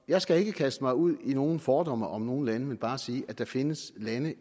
jeg skal ikke kaste mig ud i nogen fordomme om nogen lande men bare sige at der findes lande